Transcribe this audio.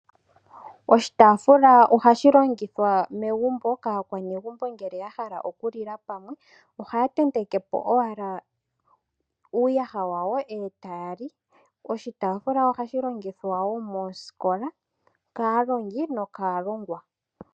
Oshitafula ohashi longithwa megumbo kakwanegumbo nge ya hala oku lila pamwe, oha tentekepo owala uuyaha wawo etaya li. Oshitafula ohashi longithwa wo mosikola kaalongi nokalongwa.